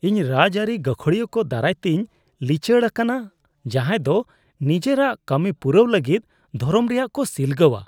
ᱤᱧ ᱨᱟᱡᱽ ᱟᱹᱨᱤ ᱜᱟᱹᱠᱷᱩᱲᱤᱭᱟᱹ ᱠᱚ ᱫᱟᱨᱟᱭᱛᱮᱧ ᱞᱤᱪᱟᱹᱲ ᱟᱠᱟᱱᱟ ᱡᱟᱦᱟᱸᱭᱫᱚ ᱱᱤᱡᱮᱨᱟᱜ ᱠᱟᱹᱢᱤᱯᱩᱨᱟᱹᱣ ᱞᱟᱹᱜᱤᱫ ᱫᱷᱚᱨᱚᱢ ᱨᱮᱭᱟᱜ ᱠᱚ ᱥᱤᱞᱜᱟᱹᱣᱟ ᱾